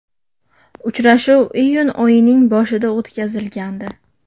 Uchrashuv iyun oyining boshida o‘tkazilgandi.